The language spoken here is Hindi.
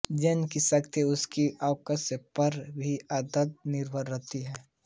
जेम्स की ख्याति उसकी काव्यरचना पर भी अंशत निर्भर करती है